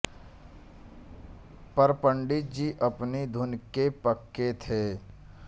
पर पंडित जी अपनी धुन के पक्के थे